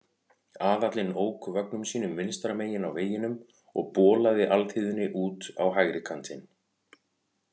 Aðallinn ók vögnum sínum vinstra megin á vegunum og bolaði alþýðunni út á hægri kantinn.